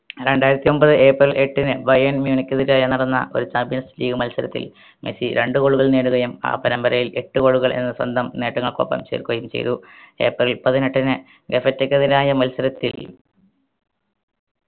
രണ്ടായിരത്തി ഒമ്പത് ഏപ്രിൽ എട്ടിന് ബയൺമ്യൂണിക്കെതിരായി നടന്ന ഒരു champions league മത്സരത്തിൽ മെസ്സി രണ്ട് goal കൾ നേടുകയും ആ പരമ്പരയിൽ എട്ട് goal കൾ എന്ന സ്വന്തം നേട്ടങ്ങൾക്കൊപ്പം ചേർക്കുകയും ചെയ്തു ഏപ്രിൽ പതിനെട്ടിന് നെഫെറ്റെക്കെതിരായ മത്സരത്തിൽ